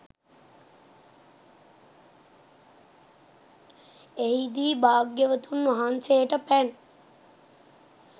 එහිදී භාග්‍යවතුන් වහන්සේට පැන්